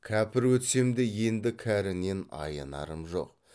кәпір өтсем де енді кәрінен аянарым жоқ